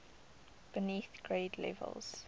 beneath grade levels